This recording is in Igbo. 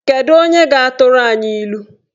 Kedu onye ga-atụrụ anyị ilu?